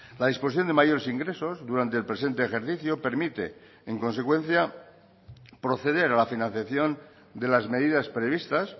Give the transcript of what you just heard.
la disposición de mayores ingresos durante el presente ejercicio permite en consecuencia proceder a la financiación de las medidas previstas